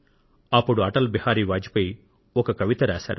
అప్పుడు శ్రీ అటల్ బిహారీ వాజ్ పేయి ఒక కవిత రాశారు